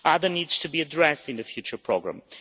Others need to be addressed in the future programme.